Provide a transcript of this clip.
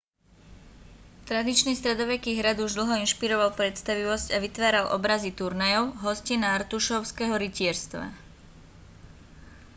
tradičný stredoveký hrad už dlho inšpiroval predstavivosť a vytváral obrazy turnajov hostín a artušovského rytierstva